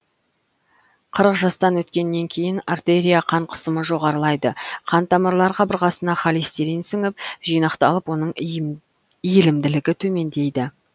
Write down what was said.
қырық жастан өткеннен кейін артерия қан қысымы жоғарылайды қан тамырлар қабырғасына холестерин сіңіп жинақталып оның иілімділігі төмендейді